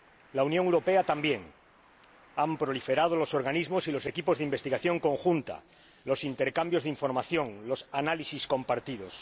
La Unión Europea también han proliferado los organismos y los equipos de investigación conjunta, los intercambios de información y los análisis compartidos.